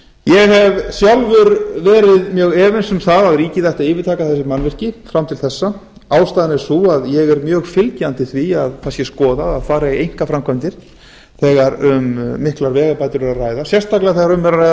ég hef sjálfur verið mjög efins um það að ríkið ætti að yfirtaka þessi mannvirki fram til þessa ástæðan er sú að ég er mjög fylgjandi því að það sé skoðað að fara í einkaframkvæmdir þegar um miklar vegabætur er að að sérstaklega þegar um er að ræða